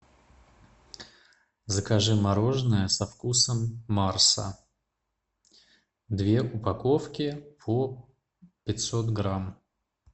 закажи мороженое со вкусом марса две упаковки по пятьсот грамм